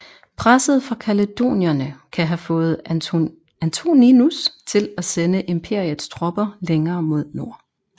Presset fra kaledonierne kan have fået Antoninus til at sende imperiets tropper længere mod nord